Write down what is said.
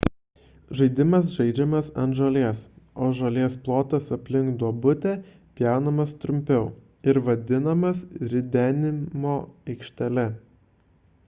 žaidimas žaidžiamas ant žolės o žolės plotas aplink duobutę pjaunamas trumpiau ir vadinamas ridenimo aikštele